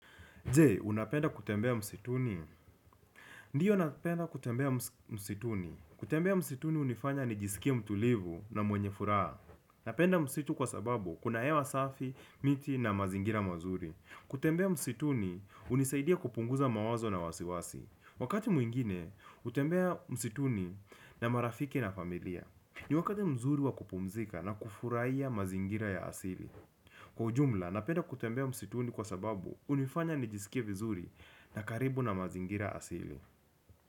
Je, unapenda kutembea msituni? Ndiyo napenda kutembea msituni. Kutembea msituni hunifanya nijisikie mtulivu na mwenye furaha. Napenda msitu kwa sababu, kuna hewa safi, miti na mazingira mazuri. Kutembea msituni hunisaidia kupunguza mawazo na wasiwasi. Wakati mwingine, hutembea msituni na marafiki na familia. Ni wakati mzuri wa kupumzika na kufurahia mazingira ya asili. Kwa ujumla, napenda kutembea msituni kwa sababu, hunifanya nijisikie vizuri. Na karibu na mazingira asili.